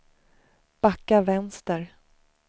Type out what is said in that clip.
backa vänster